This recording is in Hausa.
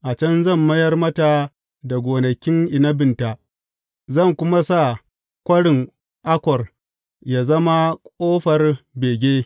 A can zan mayar mata da gonakin inabinta, zan kuma sa Kwarin Akor yă zama ƙofar bege.